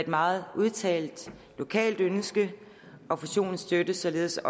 meget udtalt lokalt ønske og fusionen støttes således